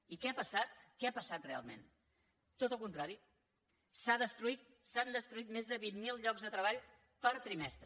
i què ha passat què ha passat realment tot el contrari s’han destruït més de vint mil llocs de treball per trimestre